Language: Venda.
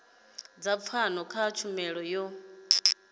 dza pfano kha tshumelo yo